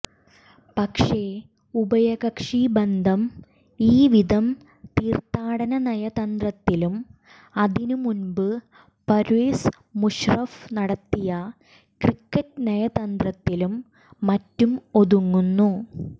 പക്ഷേ ഉഭയകക്ഷി ബന്ധം ഈവിധം തീര്ത്ഥാടന നയതന്ത്രത്തിലും അതിന് മുമ്പ് പര്വേസ് മുഷാറഫ് നടത്തിയ ക്രിക്കറ്റ് നയതന്ത്രത്തിലും മറ്റും ഒതുങ്ങുന്നു